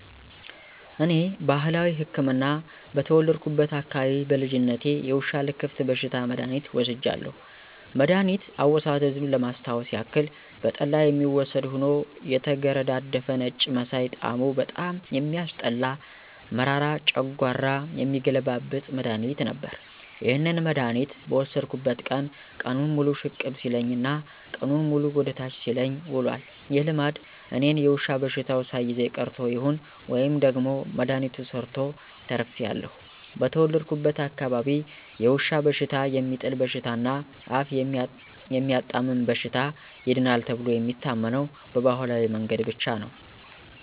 እኔ ባህላዊ ህክምና በተወለድኩበት አካባቢ በልጅነቴ የውሻ ልክፍት በሽታ መድሐኒት ወስጃለሁ። መድኋኒት አወሳሰዱን ለማስታወስ ያክል በጠላ የሚወሰድ ሆኖ የተገረዳደፈ ነጭ መሳይ ጣሙ በጣም የሚያስጠላ መራራ ጨንጓራ የሚገለብጥ መድሐኒት ነበር። ይህንን መድሐኒት በወሰድኩበት ቀን ቀኑን ሙሉ ሽቅብ ሲለኝ እና ቀኑንን ሙሉ ወደ ታች ሲለኝ ውሏል። ይህ ልምድ እኔን የዉሻ በሽተው ሳይዘኝ ቀርቶ ይሁን ወይም ደግሞ መድሐኒቱ ሰርቶ ተርፌአለሁ። በተወለድኩበት አካባቢ የውሻ በሽታ፣ የሚጥል በሽታ እና አፍ የሚያጣምም በሽታ ይድናል ተብሎ የሚታመነው በባህላዊ መንገድ ብቻ ነው።